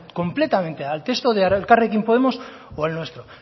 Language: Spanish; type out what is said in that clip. completamente al texto de elkarrekin podemos o al nuestro